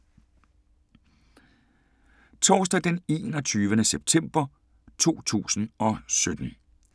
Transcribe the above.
Torsdag d. 21. september 2017